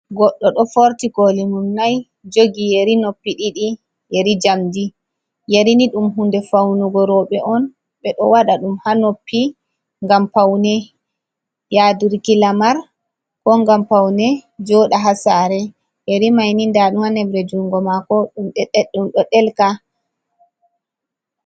Goɗɗo ɗo forti kooli mum nai, jogi yeri noppi ɗidi, yeri njamdi. Yari ni ɗum hunde faunugo rowɓe on. Ɓe ɗo waɗa ɗum ha noppi ngam paune, yaadirki lamar, ko ngam paune, jooɗa ha sare. Yeri mai ni nda ɗum ha nebre jungo maako, ɗum ɗo delka.